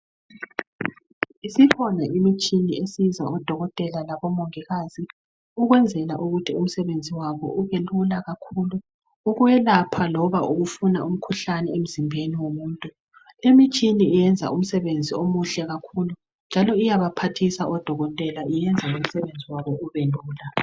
Isikhona imitshini esiza odokotela labomongikazi ukwenzela ukuthi umsebenzi wabo ubelula kakhulu ukwelapha loba ukufuna umkhuhlane emzimbeni womuntu. Imtshini yenza umsebenzi omuhle kakhulu njalo iyabaphathisa odokokotela iyenza umsebenzi wabo ubelula